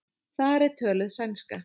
Þar er töluð sænska.